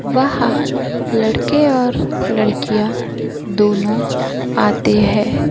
वह लड़के और लड़कियां दोनों आते हैं।